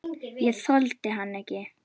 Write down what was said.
Ég þoldi hann ekki.